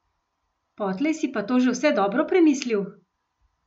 Potlej si pa to že vse dobro premislil?